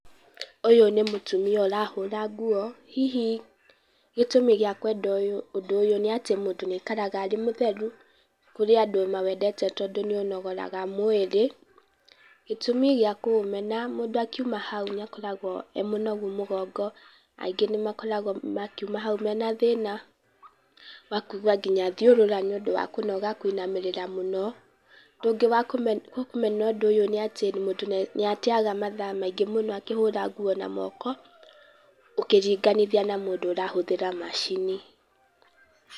Ũyũ nĩ mũtumia ũrahũra nguo, hihi gĩtũmi gĩa kwenda ũndũ ũyũ nĩ atĩ mũndũ nĩ aikaraga e mũtheru, kũrĩ andũ mawendete tondũ nĩ ũnogoraga mwĩrĩ. Gĩtũmi gĩa kũũmena, mũndũ akiũma hau nĩ akoragwo e mũnogu mũgongo, aingĩ nĩ makoragwo makiũma hau mena thina, wa kũigua ngina thiũrura nĩ ũndũ wa kũnoga kũinamiriria mũno. Ũndũ ungiĩ wa kũ mena kũmena ũndũ ũyũ nĩ atĩ mũndũ nĩ atiega mathaa maingĩ mũno akihũra nguo na moko, ukĩriganithia na mũndũ ũrahũthĩra macini.